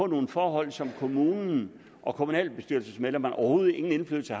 nogle forhold som kommunen og kommunalbestyrelsesmedlemmerne overhovedet ingen indflydelse